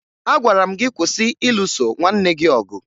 Agwara m gị kwụsị ịlụso nwanne gị ọgụ!